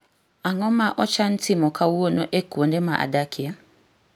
Ang'o ma ochan timo kawuono e kuonde ma adakie